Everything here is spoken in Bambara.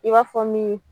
I b'a fɔ min